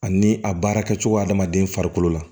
Ani a baara kɛ cogo adamaden farikolo la